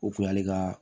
O kun y'ale ka